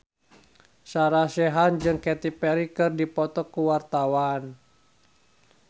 Sarah Sechan jeung Katy Perry keur dipoto ku wartawan